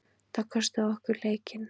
Það kostaði okkur leikinn.